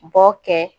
Bɔ kɛ